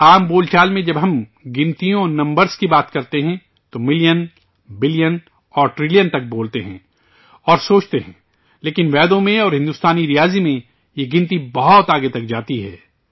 عام بول چال میں جب ہم اعداد اور نمبر کی بات کرتے ہیں، تو ملین، بلین اور ٹریلین تک بولتے اور سوچتے ہیں، لیکن، ویدوں میں اور ہندوستانی ریاضی میں یہ حساب بہت آگے تک جاتا ہے